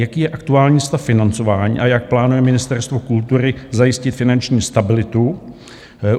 Jaký je aktuální stav financování a jak plánuje Ministerstvo kultury zajistit finanční stabilitu?